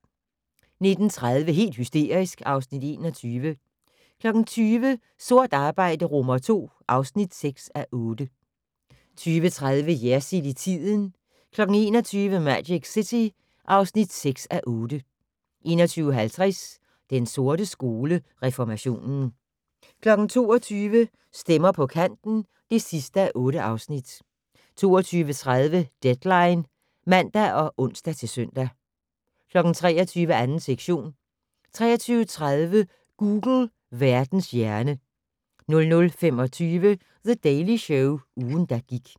19:30: Helt hysterisk (Afs. 21) 20:00: Sort arbejde II (6:8) 20:30: Jersild i tiden 21:00: Magic City (6:8) 21:50: Den sorte skole: Reformationen 22:00: Stemmer på kanten (8:8) 22:30: Deadline (man og ons-søn) 23:00: 2. sektion 23:30: Google - Verdens hjerne 00:25: The Daily Show - ugen, der gik